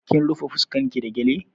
Kin rufe fuskan ki da gyale?